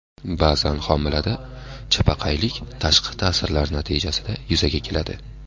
Ba’zan homilada chapaqaylik tashqi ta’sirlar natijasida yuzaga keladi.